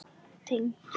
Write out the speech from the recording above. Tengd svör